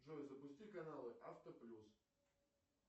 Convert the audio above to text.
джой запусти каналы авто плюс